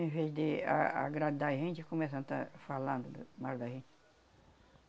Em vez de a agradar a gente, começam a estar falando mal da gente.